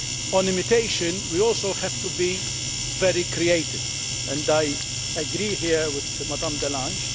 On imitation we also have to be very creative, and I agree here with Ms de Lange.